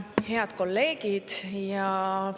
Head kolleegid!